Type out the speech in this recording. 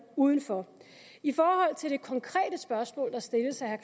uden for i forhold til det konkrete spørgsmål der stilles af